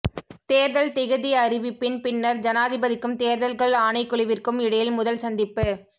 தேர்தல் திகதி அறிவிப்பின் பின்னர் ஜனாதிபதிக்கும் தேர்தல்கள் ஆணைக்குழுவிற்கும் இடையில் முதல் சந்திப்பு